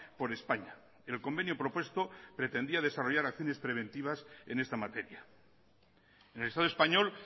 por españa el convenio propuesto pretendía desarrollar acciones preventivas en esta materia en el estado español